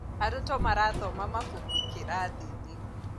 Aruto marathoma mabuku kĩrathiĩnĩ